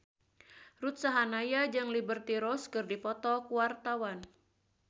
Ruth Sahanaya jeung Liberty Ross keur dipoto ku wartawan